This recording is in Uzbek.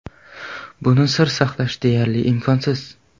Buni sir saqlash deyarli imkonsiz.